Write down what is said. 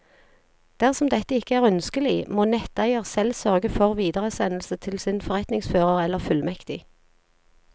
Dersom dette ikke er ønskelig, må netteier selv sørge for videresendelse til sin forretningsfører eller fullmektig.